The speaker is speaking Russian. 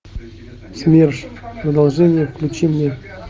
смерш продолжение включи мне